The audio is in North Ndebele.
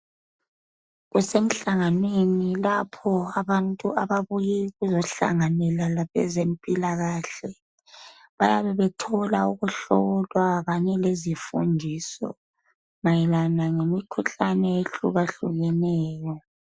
Kusemhlanganweni lapho abantu ababuye ukuzohlanganela labezempilakahle bayabe bethola ukuhlolwa lezifundiso mayelana lemikhuhlane eyehlukeneyo.